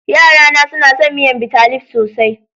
Yarana suna son miyar Bitalib sosai.